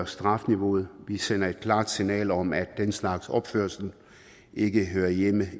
strafniveauet vi sender et klart signal om at den slags opførsel ikke hører hjemme